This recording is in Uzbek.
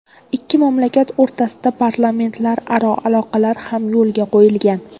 Ikki mamlakat o‘rtasida parlamentlararo aloqalar ham yo‘lga qo‘yilgan.